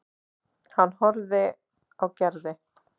Hann horfði á Gerði.